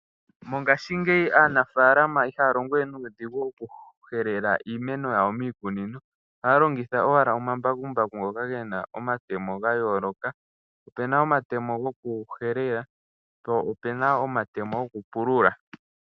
Mongashingeyi aanafaalama iha ya longo we nuudhigu oku helela iimeno yawo miikunino, oha ya longitha owala omambakumbaku ngoka gena omatemo ga yaaloka, opena omatemo goku helela po opena omatemo goku pulula.